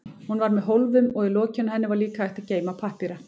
Hún var með hólfum og í lokinu á henni var líka hægt að geyma pappíra.